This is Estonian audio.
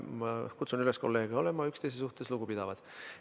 Ma kutsun üles kolleege olema üksteise suhtes lugupidavad.